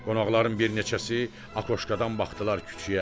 Qonaqların bir neçəsi akoşkadan baxdılar küçüyə.